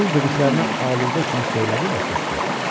Öz dediklərinə aludə kimi söylədi və susdu.